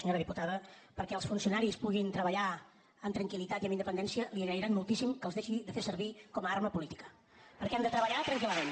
senyora diputada perquè els funcionaris puguin treballar amb tranquil·litat i amb independència li agrairan moltíssim que els deixi de fer servir com a arma política perquè han de treballar tranquil·lament